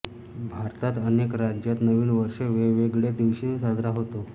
भारतात अनेक राज्यांत नवीव वर्ष वेगवेगळ्या दिवशी साजरा होतो